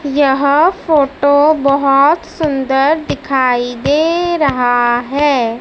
यह फोटो बहोत सुंदर दिखाई दे रहा है।